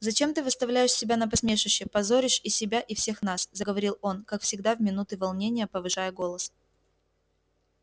зачем ты выставляешь себя на посмешище позоришь и себя и всех нас заговорил он как всегда в минуты волнения повышая голос